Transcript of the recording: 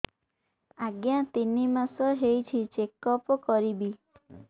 ଆଜ୍ଞା ତିନି ମାସ ହେଇଛି ଚେକ ଅପ କରିବି